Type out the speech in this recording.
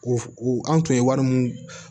O f u an tun ye wari mun